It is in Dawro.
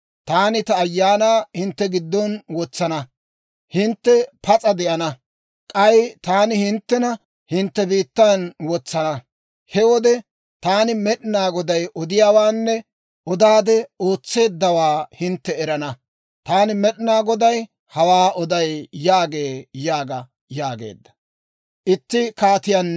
Taani ta Ayaanaa hintte giddon wotsana; hintte pas'a de'ana. K'ay taani hinttena hintte biittan wotsana. He wode taani Med'inaa Goday odiyaawaanne odaade ootseeddawaa hintte erana. Taani Med'inaa Goday hawaa oday» yaagee› yaaga» yaageedda.